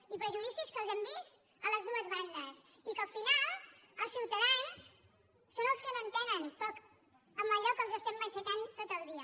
i prejudicis que els hem vist a les dues bandes i que al final els ciutadans són els que no entenen allò amb què els estem matxacant tot el dia